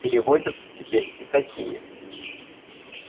переводятся теперь и такие